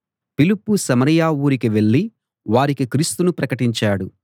ఫిలిప్పు సమరయ ఊరికి వెళ్ళి వారికి క్రీస్తును ప్రకటించాడు